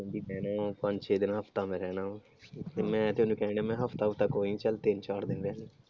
ਕਹਿੰਦੀ ਰਹਿਣਾ ਆ ਪੰਜ ਛੇ ਦਿਨ ਹਫਤਾ ਮੈਂ ਰਹਿਣਾ ਵਾ, ਤੇ ਮੈਂ ਤੇ ਓਹਨੂੰ ਕਹਿਣ ਡੇਆ ਮੈਂ ਹਫਤਾ ਹੁਫ਼ਤਾ ਕੋਈ ਨੀ ਚੱਲ ਤਿੰਨ ਚਾਰ ਦਿਨ ਰਿਹਲੀਂ।